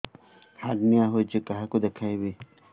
hernia ହୋଇଛି କାହାକୁ ଦେଖେଇବି